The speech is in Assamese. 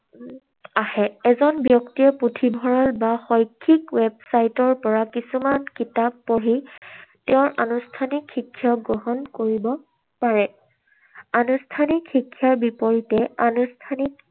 আহে। এজন ব্যক্তিয়ে পুথিভঁৰাল বা শৈক্ষিক website ৰ পৰা কিছুমান কিতাপ পঢ়ি তেওঁৰ আনুষ্ঠানিক শিক্ষা গ্ৰহণ কৰিব পাৰে। আনুষ্ঠানিক শিক্ষাৰ পৰিৱৰ্তে আনুষ্ঠানিক